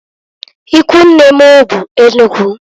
Ikwunne m be Enugu.